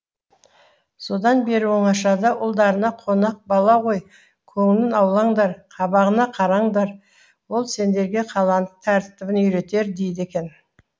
содан бері оңашада ұлдарына қонақ бала ғой көңілін аулаңдар қабағына қараңдар ол сендерге қаланың тәртібін үйретер дейді екен